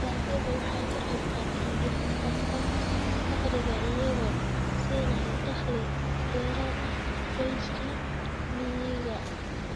Dalagyadu waxay ka qaybqaataan dhimista faqriga iyagoo siinaya dakhli dheeraad ah qoysaska miyiga ah.